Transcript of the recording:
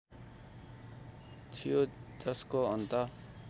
थियो जसको अन्त